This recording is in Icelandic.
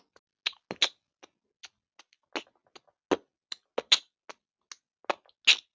En hver eru einkenni lekanda?